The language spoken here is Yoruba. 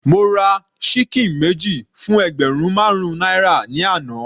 Mo ra ṣíkìn méjì fún ẹgbẹ̀rún marun náírà ni àná.